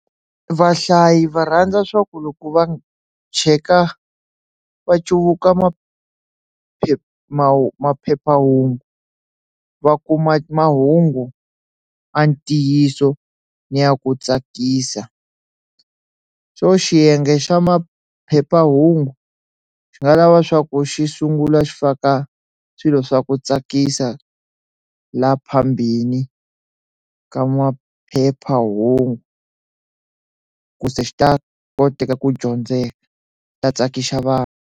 Vahlayi va rhandza swa ku loko va cheka va cuvuka maphephahungu maphephahungu va kuma mahungu ya ntiyiso ni ya ku tsakisa xo xiyenge xa maphephahungu xi nga lava swa ku xi sungula xi faka swilo swa ku tsakisa la phambili ka maphephahungu ku se xi ta koteka ku dyondzeka ta tsakisa vanhu.